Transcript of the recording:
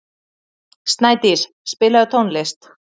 Snædís, spilaðu tónlist.